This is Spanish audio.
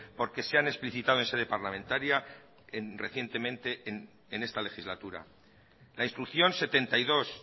porque se han explicitado en sede parlamentaria recientemente en esta legislatura la instrucción setenta y dos